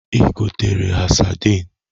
Ị gotere ha sadịn?